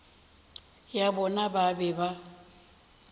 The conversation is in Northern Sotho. ya bona ba be ba